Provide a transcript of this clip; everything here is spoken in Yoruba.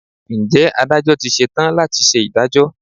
Ǹjẹ́ Adájọ́ ti ṣe tán láti ṣe ìdájọ́?